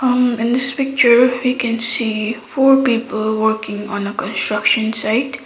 um in this picture we can see four people working on a construction site.